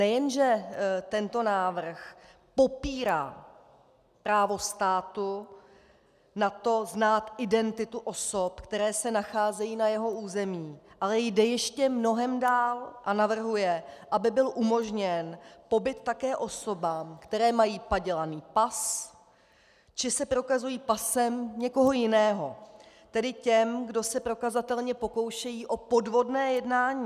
Nejen že tento návrh popírá právo státu na to znát identitu osob, které se nacházejí na jeho území, ale jde ještě mnohem dál a navrhuje, aby byl umožněn pobyt také osobám, které mají padělaný pas či se prokazují pasem někoho jiného, tedy těm, kdo se prokazatelně pokoušejí o podvodné jednání.